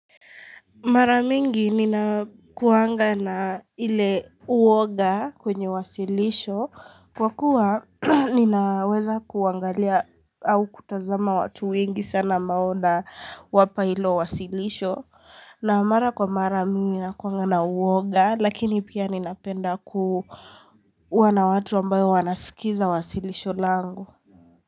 Maramingi nina kuanga na ile uwoga kwenye wasilisho kwa kuwa ninaweza kuangalia au kutazama watu wengi sana ambao nawapa hilo wasilisho na mara kwa mara mimi nina kuanga na uwoga lakini pia ninapenda kuwa na watu ambao wanasikiza wasilisho langu.